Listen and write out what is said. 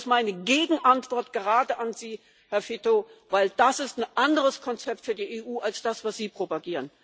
Und das ist meine Gegenantwort gerade an Sie, Herr Fitto, denn das ist ein anderes Konzept für die EU als jenes, das sie propagieren.